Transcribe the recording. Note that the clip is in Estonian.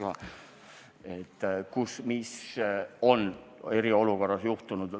Mõtlen andmeid, kus mis on eriolukorra ajal juhtunud.